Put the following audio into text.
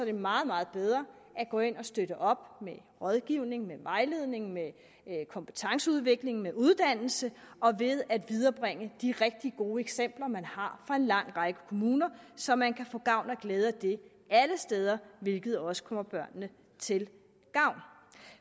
det meget meget bedre at gå ind og støtte op med rådgivning med vejledning med kompetenceudvikling med uddannelse og ved at viderebringe de rigtig gode eksempler man har fra en lang række kommuner så man kan få gavn og glæde af det alle steder hvilket også kommer børnene til gavn